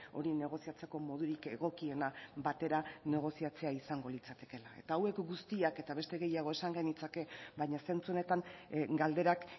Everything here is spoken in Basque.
hori negoziatzeko modurik egokiena batera negoziatzea izango litzatekeela hauek guztiak eta beste gehiago esan genitzake baina zentzu honetan galderak